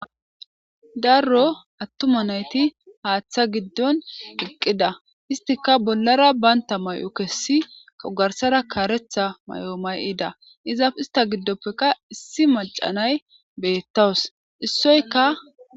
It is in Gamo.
Daro attuma nayti haaththa giddon iqqida. Istika bollara baynta may'o kessi kagarsara kaaretha mayo may'ida. Ista giddoppeka issi macanay beettawus issoyka.